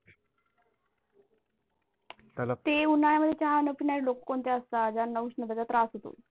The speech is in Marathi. ते उन्हाळामध्ये चाहान की नाही लोक कोणते असतात ज्यांना उष्णतेचा त्रास होतो.